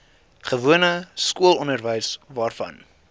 gewone skoolonderwys waarvan